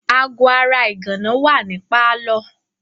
Aago ara ìgànná wà ní pálọ̀.